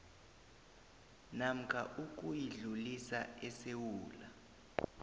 namkha ukuyidlulisa esewula